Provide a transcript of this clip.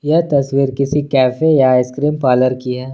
यह तस्वीर किसी कैफे या आइसक्रीम पार्लर की है।